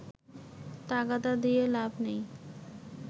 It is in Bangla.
তাগাদা দিয়ে লাভ নেই